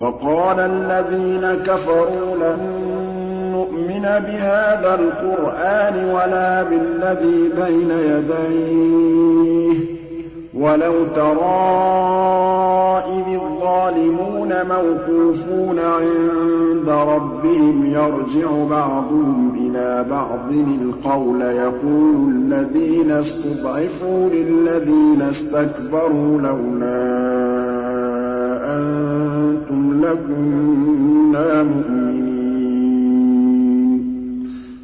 وَقَالَ الَّذِينَ كَفَرُوا لَن نُّؤْمِنَ بِهَٰذَا الْقُرْآنِ وَلَا بِالَّذِي بَيْنَ يَدَيْهِ ۗ وَلَوْ تَرَىٰ إِذِ الظَّالِمُونَ مَوْقُوفُونَ عِندَ رَبِّهِمْ يَرْجِعُ بَعْضُهُمْ إِلَىٰ بَعْضٍ الْقَوْلَ يَقُولُ الَّذِينَ اسْتُضْعِفُوا لِلَّذِينَ اسْتَكْبَرُوا لَوْلَا أَنتُمْ لَكُنَّا مُؤْمِنِينَ